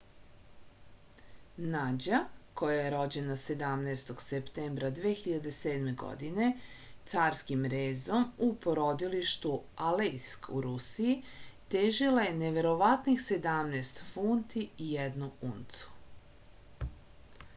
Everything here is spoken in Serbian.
nađa koja je rođena 17. septembra 2007. godine carskim rezom u porodilištu alejsk u rusiji težila je neverovatnih 17 funti i 1 uncu